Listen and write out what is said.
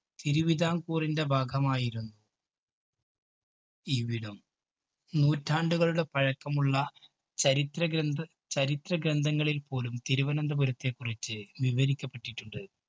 തിരുവിതാംകൂറിന്‍ടെ ഭാഗമായിരുന്നു ഇവിടം. നൂറ്റാണ്ടുകളുടെ പഴക്കമുള്ള ചരിത്ര ഗ്രന്ഥ ചരിത്ര ഗ്രന്ഥങ്ങളില്‍ പോലും, തിരുവനന്തപുരത്തെ കുറിച്ച് വിവരിക്കപ്പെട്ടിട്ടുണ്ട്.